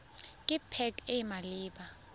ke pac e e maleba